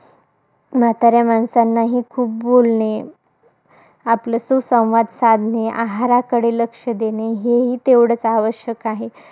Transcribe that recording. म्हाताऱ्या माणसांनाही खूप बोलणे, आपलं सुसंवाद साधणे, आहाराकडे लक्ष देणे, हेही तेवढच आवश्यक आहे.